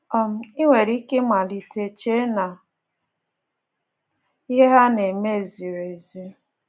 um I nwere ike ịmalite chee na ihe ha na-eme ziri ezi.